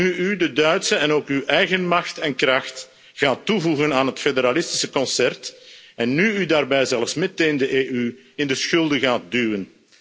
nu u de Duitse en ook uw eigen macht en kracht gaat toevoegen aan het federalistische concert, en nu u daarbij zelfs meteen de EU in de schulden gaat duwen.